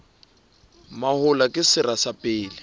mahola ke sera sa pele